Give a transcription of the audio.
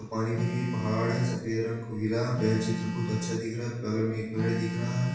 पानी भरी हुई पहाड़ है सफेद रंग कोहिरा है यह चित्र बहुत अच्छा दिख रहा है बगल में एक पेड़ दिख रहा है।